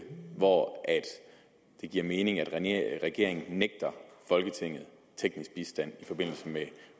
hvor det giver mening at regeringen nægter folketinget teknisk bistand i forbindelse med